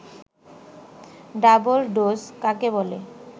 double dose কাকে বলে